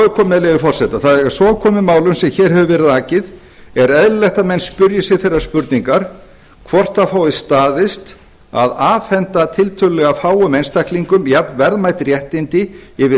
álitaefni með leyfi forseta þegar svo er komið málum sem hér hefur verið rakið er eðlilegt að menn spyrji sig þeirrar spurningar hvort það fái staðist að afhenda tiltölulega fáum einstaklingum jafn verðmæt réttindi yfir